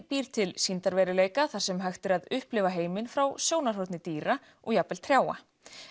býr til sýndarveruleika þar sem hægt er að upplifa heiminn frá sjónarhorni dýra og jafnvel trjáa